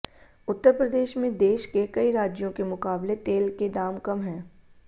उत्तर प्रदेश में देश के कई राज्यों के मुकाबले तेल के दाम कम हैं